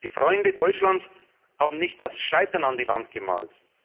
Die Freunde Deutschlands haben nicht das Scheitern an die Wand gemalt.